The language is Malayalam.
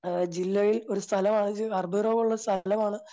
അഹ് ജില്ലയിൽ ഒരു സ്ഥലമാ അത്ഭുത രോഗമുള്ള സ്ഥലമാണ്